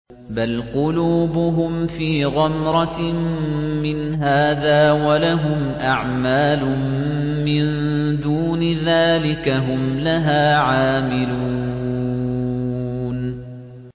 بَلْ قُلُوبُهُمْ فِي غَمْرَةٍ مِّنْ هَٰذَا وَلَهُمْ أَعْمَالٌ مِّن دُونِ ذَٰلِكَ هُمْ لَهَا عَامِلُونَ